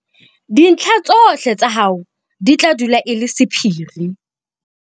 Dintlha tsohle tsa hao di tla dula e le sephiri.